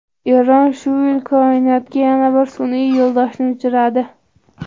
Eron shu yil koinotga yana bir sun’iy yo‘ldoshni uchiradi.